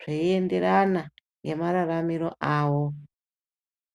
zvei enderana nema raramiro awo.